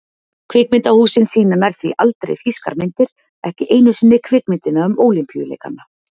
Kvikmyndahúsin sýna nær því aldrei þýskar myndir, ekki einu sinni kvikmyndina um ólympíuleikana.